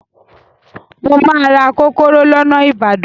Mo máa ra kókóró lọ́nà Ìbàdàn.